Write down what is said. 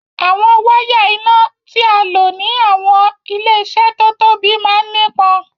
Awọn wàya iná tìà lọ̀ ni awọn ilẹ-iṣẹ́ tó tóbi màn nípọn.